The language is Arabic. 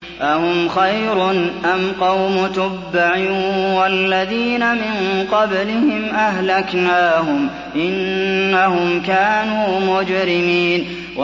أَهُمْ خَيْرٌ أَمْ قَوْمُ تُبَّعٍ وَالَّذِينَ مِن قَبْلِهِمْ ۚ أَهْلَكْنَاهُمْ ۖ إِنَّهُمْ كَانُوا مُجْرِمِينَ